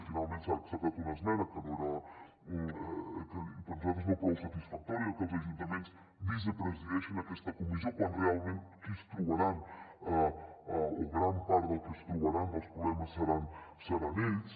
finalment s’ha acceptat una esmena per nosaltres no prou satisfactòria que els ajuntaments vicepresideixin aquesta comissió quan realment qui es trobarà o gran part dels que es trobaran els problemes seran ells